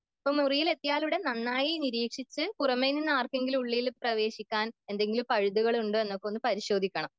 ഇപ്പം മുറിയിലെത്തിയാലുടൻ നന്നായി നിരീക്ഷിച്ചു പുറമെ നിന്ന് ആർക്കെങ്കിലും ഉള്ളിൽ പ്രവേശിക്കാൻ എന്തെങ്കിലും പഴുതുകൾ ഉണ്ടോ എന്നൊക്കെ ഒന്ന് പരിശോധിക്കണം